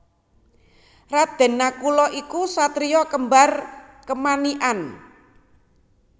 Raden Nakula iku satriya kembar kemanikan